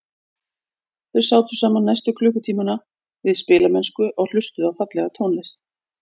Þau sátu saman næstu klukkutímana við spilamennsku og hlustuðu á fallega tónlist.